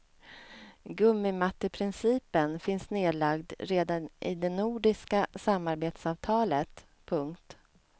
Gummimatteprincipen finns nedlagd redan i det nordiska samarbetsavtalet. punkt